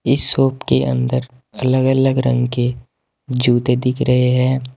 इस शॉप के अंदर अलग अलग रंग के जूते दिख रहे हैं।